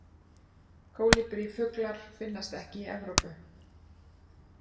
Kólibrífuglar finnast ekki í Evrópu.